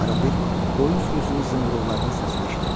Arabir qoyun sürüsünün zınqırovlarının səsini eşidirdi.